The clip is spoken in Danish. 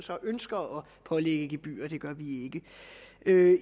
ønsker at pålægge gebyrer og det gør vi ikke